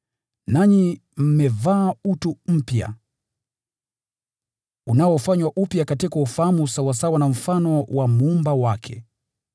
nanyi mmevaa utu mpya, unaofanywa upya katika ufahamu sawasawa na mfano wa Muumba wake.